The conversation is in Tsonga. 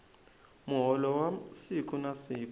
muholo wa siku na siku